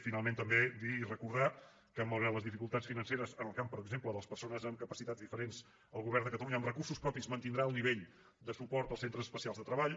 finalment també dir i recordar que malgrat les dificultats financeres en el camp per exemple de les persones amb capacitats diferents el govern de catalunya amb recursos propis mantindrà el nivell de suport als centres especials de treball